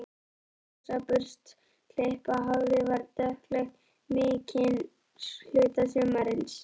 En ljósa burstaklippta hárið var dökkleitt mikinn hluta sumarsins.